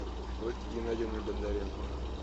ольги геннадиевны бондаренко